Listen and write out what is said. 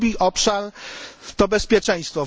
Drugi obszar to bezpieczeństwo.